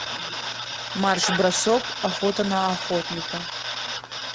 марш бросок охота на охотника